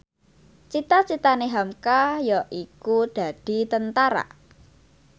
cita citane hamka yaiku dadi Tentara